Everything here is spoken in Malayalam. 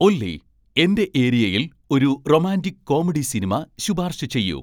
ഒല്ലി എന്റെ ഏരിയയിൽ ഒരു റൊമാന്റിക് കോമഡി സിനിമ ശുപാർശ ചെയ്യു